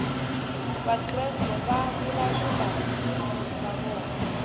vakreste va vulavula hi tindzimi ta vona